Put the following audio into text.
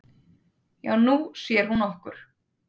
"""Já, Nú sér hún okkur"""